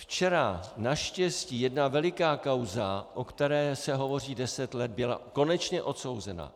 Včera naštěstí jedna veliká kauza, o které se hovoří deset let, byla konečně odsouzena.